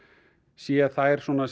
sé þær svona